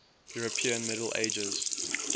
european middle ages